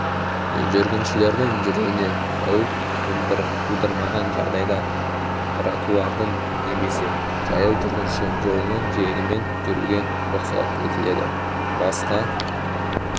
жүргіншілердің жүруіне қауіп тудырмаған жағдайда тротуардың немесе жаяу жүргінші жолының жиегімен жүруге рұқсат етіледі басқа